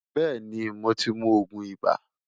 Beeni mo ti mu oogun iba